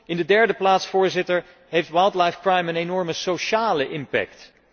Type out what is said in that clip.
In de derde plaats, Voorzitter, heeft wildlife crime een enorme sociale impact.